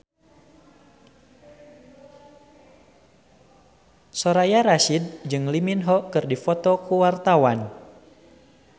Soraya Rasyid jeung Lee Min Ho keur dipoto ku wartawan